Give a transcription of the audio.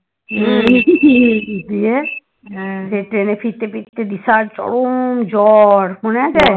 সে ট্রেনে ফিরতে ফিরতে বিশাল চরম জ্বর মনে আছে